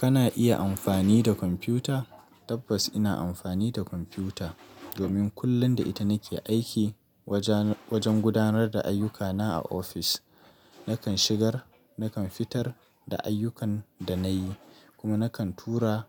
Kana iya amfani da kwamfuta? Tabbas ina amfani da kwamfuta domin kullum da ita nake aiki wajen gudanar da ayyukana a ofis. Nakan shigar, nakan fitar da ayyukan da nayi kuma nakan tura